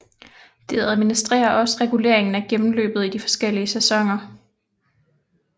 Det administrerer også reguleringen af gennemløbet i de forskellige sæsoner